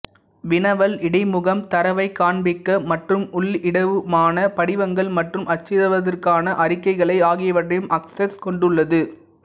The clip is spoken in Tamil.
வினவல் இடைமுகம் தரவைக் காண்பிக்க மற்றும் உள்ளிடவுமான படிவங்கள் மற்றும் அச்சிடுவதற்கான அறிக்கைகளை ஆகியவற்றையும் அக்சஸ் கொண்டுள்ளது